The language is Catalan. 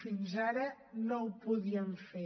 fins ara no ho podíem fer